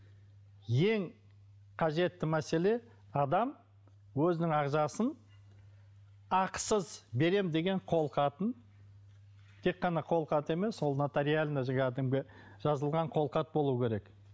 ең қажетті мәселе адам өзінің ағзасын ақысыз беремін деген қолхатын тек қана қолхат емес ол нотариально жазылған қолхат болуы керек